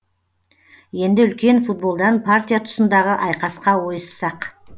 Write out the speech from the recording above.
енді үлкен футболдан партия тұсындағы айқасқа ойыссақ